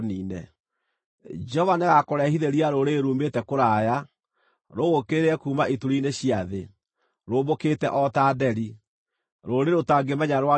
Jehova nĩagakũrehithĩria rũrĩrĩ ruumĩte kũraya, rũgũũkĩrĩre, kuuma ituri-inĩ cia thĩ, rũmbũkĩte o ta nderi, rũrĩrĩ ũtangĩmenya rwario rwa ruo,